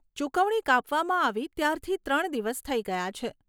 ચુકવણી કાપવામાં આવી ત્યારથી ત્રણ દિવસ થઈ ગયા છે.